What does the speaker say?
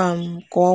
um kwa ọnwa.